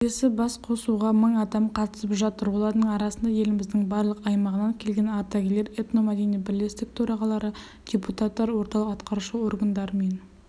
келелі басқосуға мың адам қатысып жатыр олардың арасында еліміздің барлық аймағынан келген ардагерлер этномәдени бірлестік төрағалары депутаттар орталық атқарушы органдар мен